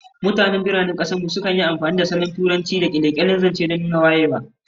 Mutanen biranen kasar mu sukan yi amfani da salon Turanci da sauran kyale-kyalen zance don nuna wayewa